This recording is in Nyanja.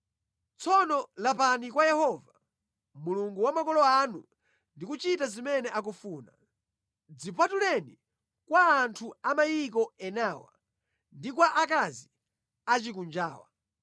Tsopano lapani kwa Yehova, Mulungu wa makolo anu ndi kuchita zimene akufuna. Dzipatuleni kwa anthu a mayiko enawa ndi kwa akazi achikunjawa.”